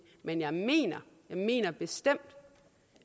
men jeg mener mener bestemt